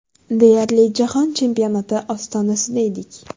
Deyarli jahon chempionati ostonasida edik.